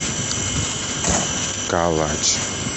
калач